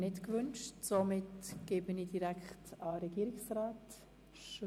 Diese wünschen das Wort ebenfalls nicht.